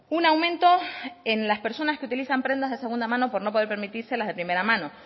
un aumento en las personas que utilizan prendas de segunda mano por no poder permitirse las de primera mano